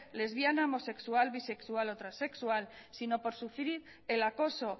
lesbiana homosexual bisexual o transexual sino por sufrir el acoso